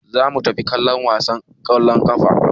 Za mu tafi kallon gasar ƙwallon ƙafa.